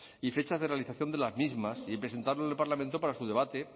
y fechas de realización de las mismas y presentarlo en el parlamento para su debate